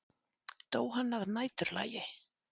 Dó hann að næturlagi?